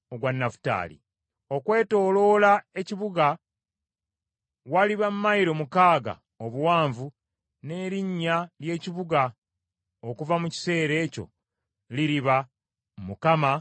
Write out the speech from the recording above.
“Okwetooloola ekibuga waliba mayilo mukaaga obuwanvu. “N’erinnya ly’ekibuga okuva mu kiseera ekyo liriba: ‘ Mukama Katonda ali omwo.’ ”